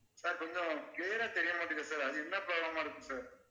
sir கொஞ்சம் clear ஆ தெரிய மாட்டேங்குது sir. அது என்ன problem ஆ இருக்கும் sir